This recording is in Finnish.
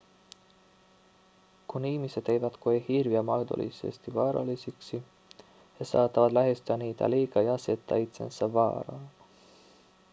kun ihmiset eivät koe hirviä mahdollisesti vaarallisiksi he saattavat lähestyä niitä liikaa ja asettaa itsensä vaaraan